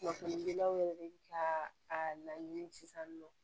Kunnafonidilaw yɛrɛ ka a laɲini sisan nɔ